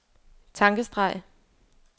tankestreg